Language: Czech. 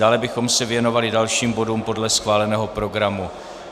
Dále bychom se věnovali dalším bodům podle schváleného programu.